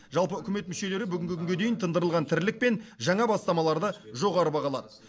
жалпы үкімет мүшелері бүгінгі күнге дейін тындырылған тірлік пен жаңа бастамаларды жоғары бағалады